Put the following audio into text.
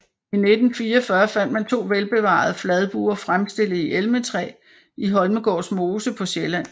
I 1944 fandt man to velbevarede fladbuer fremstillet i elmetræ i Holmegårds mose på Sjælland